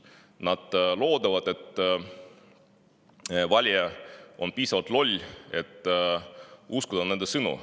Nad loodavad, et valija on piisavalt loll, et uskuda nende sõnu.